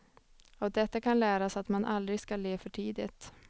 Av detta kan läras att man aldrig skall le för tidigt.